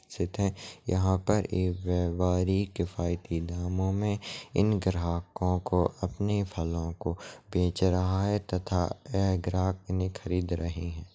यहाँ पर एक वेपारी किफायती दामों मे इन ग्राहकों को अपने फलों को बेच रहा है तथा एह ग्राहक उन्हे खरीद रहे है।